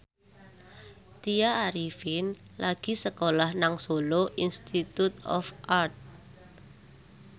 Tya Arifin lagi sekolah nang Solo Institute of Art